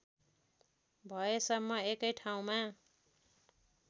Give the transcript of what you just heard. भएसम्म एकै ठाउँमा